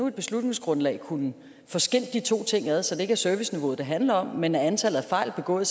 et beslutningsgrundlag kunne få skilt de to ting ad så det ikke er serviceniveauet det handler om men antallet af fejl begået